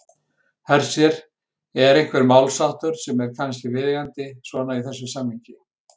Hersir: Er einhver málsháttur sem er kannski viðeigandi svona í þessu samhengi?